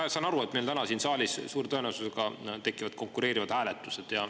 Ma saan aru, et meil täna siin saalis tekivad suure tõenäosusega konkureerivad hääletused.